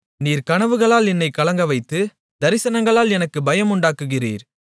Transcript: நீர் கனவுகளால் என்னைக் கலங்கவைத்து தரிசனங்களால் எனக்கு பயமுண்டாக்குகிறீர்